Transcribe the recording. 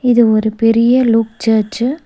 இது ஒரு பெரிய லோப் சர்ச்சு .